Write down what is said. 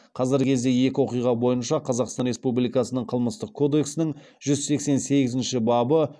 қазіргі кезде екі оқиға бойынша қазақстан республикасының қылмыстық кодексінің жүз сексен сегізінші бабы